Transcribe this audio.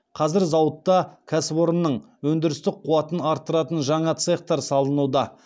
қазір зауытта кәсіпорынның өндірістік қуатын арттыратын жаңа цехтар салынуда